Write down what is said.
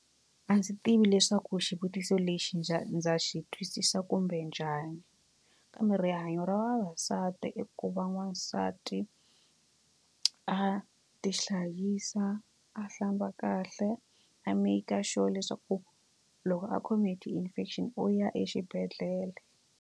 A ndzi tivi leswaku xivutiso lexi ndza xi twisisa kumbe njhani kambe rihanyo ra vavasati i ku va n'wansati a tihlayisa a hlamba kahle a make sure leswaku loko a khome hi ti infection u ya exibedhlele.